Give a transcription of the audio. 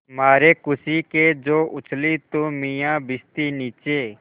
मारे खुशी के जो उछली तो मियाँ भिश्ती नीचे